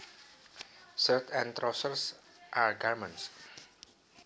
Shirts and trousers are garments